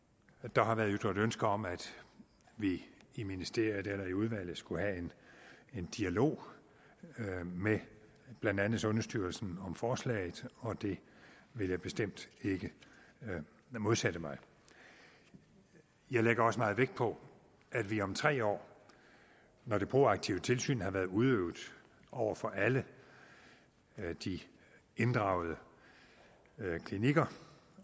der har været ytret ønske om at vi i ministeriet eller i udvalget skulle have en dialog med blandt andet sundhedsstyrelsen om forslaget og det vil jeg bestemt ikke modsætte mig jeg lægger også meget vægt på at vi om tre år når det proaktive tilsyn har været udøvet over for alle de inddragede klinikker